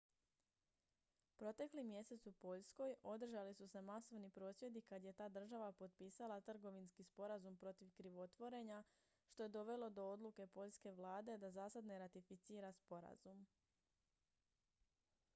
protekli mjesec u poljskoj održali su se masovni prosvjedi kad je ta država potpisala trgovinski sporazum protiv krivotvorenja što je dovelo do odluke poljske vlade da zasad ne ratificira sporazum